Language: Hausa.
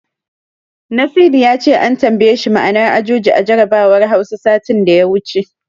Nasidi ya ce an tambaye shi ma'anar Ajuji a jarabawar Hausa, satin da ya wuce.